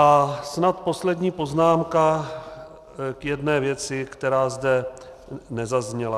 A snad poslední poznámka k jedné věci, která zde nezazněla.